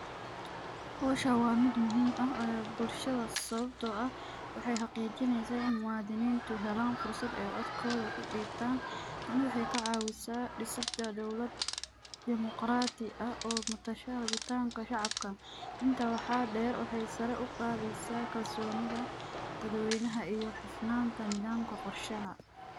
Howshan wa mid muhim eh bulshada sababto ah waxay xaqijineysa ina muwadininta helan fursad ay codkodha kudibtan tani waxay kacawisa disida dowlad demoqradi ah oo matasha rabitanka shacabka, inta waxa der waxay sari uqadeysa kalsonida dadweynaha iyo disnanta nidhamka qorshaha.